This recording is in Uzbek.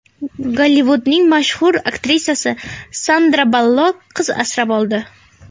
Gollivudning mashhur aktrisasi Sandra Ballok qiz asrab oldi.